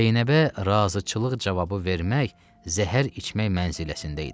Zeynəbə razıçılıq cavabı vermək zəhər içmək mənziləsində idi.